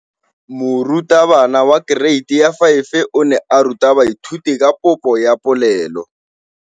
Moratabana wa kereiti ya 5 o ne a ruta baithuti ka popô ya polelô.